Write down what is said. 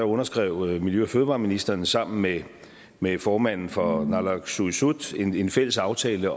underskrev miljø og fødevareministeren sammen med med formanden for naalakkersuisut en fælles aftale